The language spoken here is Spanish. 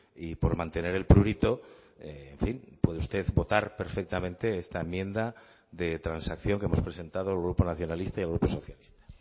y por mantener el prurito en fin puede usted votar perfectamente esta enmienda de transacción que hemos presentado el grupo nacionalista y el grupo socialista